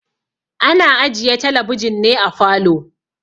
Ana ajiye talabijin ne a falo.